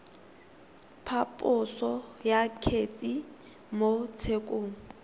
phaposo ya kgetse mo tshekong